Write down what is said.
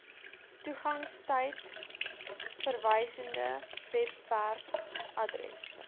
toegangstyd verwysende webwerfaddresse